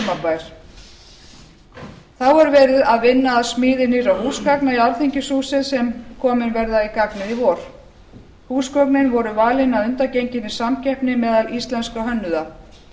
þá er verið að vinna að smíði nýrra húsgagna í alþingishúsið sem komin verða í gagnið í vor húsgögnin voru valin að undangenginni samkeppni meðal íslenskra hönnuða